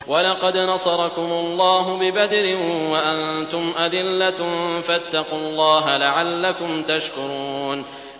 وَلَقَدْ نَصَرَكُمُ اللَّهُ بِبَدْرٍ وَأَنتُمْ أَذِلَّةٌ ۖ فَاتَّقُوا اللَّهَ لَعَلَّكُمْ تَشْكُرُونَ